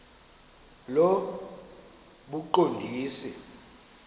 lobuqondisi